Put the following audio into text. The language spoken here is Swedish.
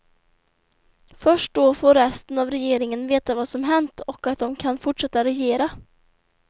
Först då får resten av regeringen veta vad som hänt och att de kan fortsätta regera.